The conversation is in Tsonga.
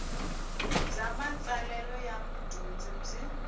bya matsalelo ya mudyondzi byi